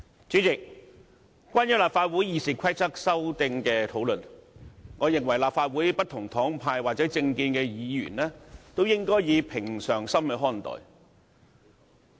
主席，關於立法會《議事規則》修訂的討論，我認為立法會不同黨派或政見的議員均應以平常心看待。